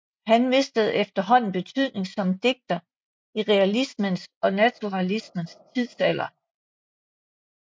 Han mistede efterhånden betydning som digter i realismens og naturalismens tidsalder